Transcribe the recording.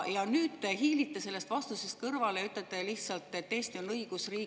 Aga nüüd te hiilite vastusest kõrvale ja ütlete lihtsalt, et Eesti on õigusriik.